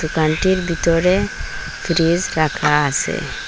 দোকানটির ভিতরে ফ্রিজ রাখা আসে।